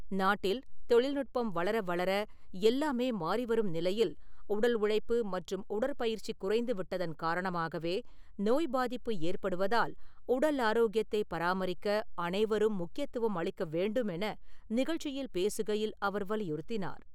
நாட்டில் தொழில்நுட்பம் வளர வளர எல்லாமே மாறி வரும் நிலையில், உடல் உழைப்பு மற்றும் உடற்பயிற்சி குறைந்து விட்டதன் காரணமாகவே நோய் பாதிப்பு ஏற்படுவதால் உடல் ஆரோக்கியத்தைப் பராமரிக்க அனைவரும் முக்கியத்துவம் அளிக்க வேண்டும் என நிகழ்ச்சியில் பேசுகையில் அவர் வலியுறுத்தினார்.